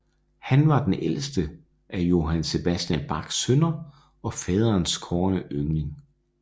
Han var den ældste af Johann Sebastian Bachs sønner og faderens kårne yndling